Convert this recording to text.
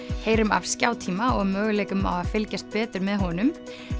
heyrum af skjátíma og möguleikum á að fylgjast betur með honum